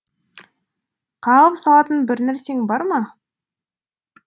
қағып салатын бір нәрсең бар ма